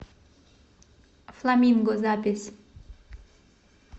фламинго запись